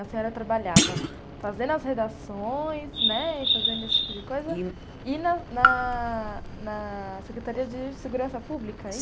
A senhora trabalhava fazendo as redações, né, e fazendo esse tipo de coisa, e na na na Secretaria de Segurança Pública?